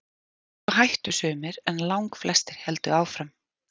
Og svo hættu sumir en langflestir héldu áfram.